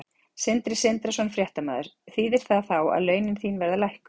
Sindri Sindrason, fréttamaður: Þýðir það þá ekki að laun þín verða lækkuð?